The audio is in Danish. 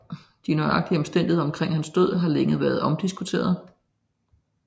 De nøjagtige omstændigheder omkring hans død har længe været omdiskuterede